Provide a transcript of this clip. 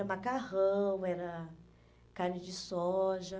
macarrão, era carne de soja.